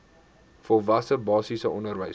volwasse basiese onderwys